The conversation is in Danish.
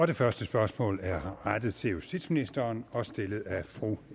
det første spørgsmål er rettet til justitsministeren og stillet af fru